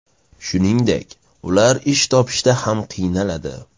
Shuningdek, ular ish topishda ham qiynaladi.